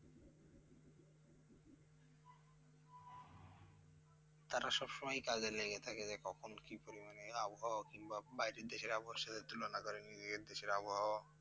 তারা সবসময়ই কাজে লেগে থাকে যে, কখন কি পরিমাণে আবহওয়া? কিংবা বাইরের দেশের আবহওয়ার সাথে তুলনা করে নিজেদের দেশের আবহওয়া।